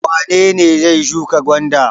Wane ne zai shuka gwanda?